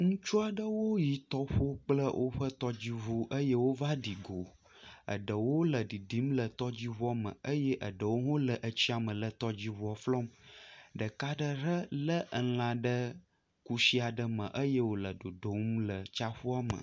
Ŋutsu aɖewo yi tɔƒo kple woƒe tɔdziŋu eye wova ɖi go, eɖewo le ɖiɖim le tɔdziŋu me eye eɖewo hã wole tɔdziŋua flɔm, ɖeka aɖe ɖe lé elã ɖe kusi aɖe me eye wòle dodom le tsiaƒua me.